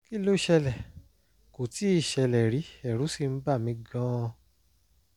kí ló ṣẹlẹ̀? kò tíì ṣẹlẹ̀ rí ẹ̀rù sì bà mí gan-an